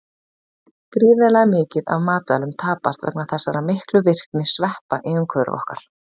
Gríðarlega mikið af matvælum tapast vegna þessara miklu virkni sveppa í umhverfi okkar.